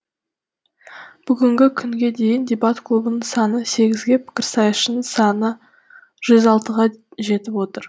бүгінгі күнге дейін дебат клубының саны сегізге пікірсайысшының саны жүз алтыға жетіп отыр